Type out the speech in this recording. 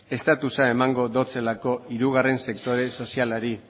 estatusa emango datzalako hirugarren sektore sozialari